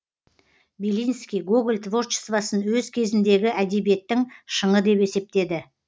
белинский гоголь творчествосын өз кезіндегі әдебиеттің шыңы деп есептеді